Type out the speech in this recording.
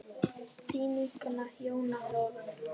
Þín vinkona Jóna Þórunn.